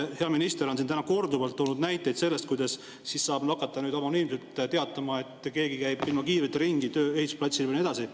Hea minister on siin täna korduvalt toonud näiteid sellest, kuidas siis saab hakata anonüümselt teatama, kui keegi käib ehitusplatsil ilma kiivrita ringi ja nii edasi.